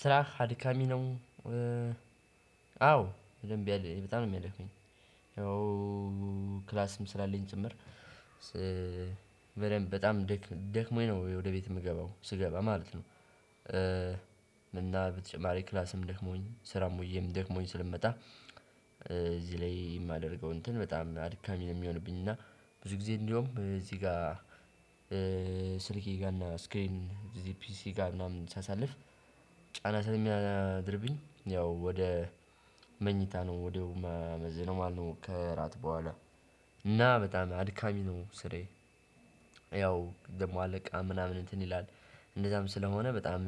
ስራ አድካሚ ነው። አዎ በደንብ በጣም ነው የሚያደክመኝ። ያው ክላስም ስላለኝ ጭምር። በደንብ በጣም ደክሞኝ ነው ወደ ቤት የምገባው ስገባ ማለት ነው። እና በተጨማሪ ክላስም ደክሞኝ ስራም ውዬም ደክሞኝ ስለምመጣ እዚህ ላይ የማደርገው እንትን በጣም አድካሚ ነው የሚሆንብኝ። እና ብዙ ጊዜ እንደውም እዚህ ጋ ስልኬ ጋር እና ስክሪን እዚህ ፒሲ ጋር ምናምን ሳሳልፍ። ጫና ስለሚያድርብኝ ያው ወደ መኝታ ነው ወዲያው የማመዝነው ነው ማለት ነው። ከእራት በኋላ እና በጣም አድካሚ ነው ስራዬ። ያው ደሞ አለቃ ምናምን እንትን ይላልእንደዛም ስለሆነ በጣም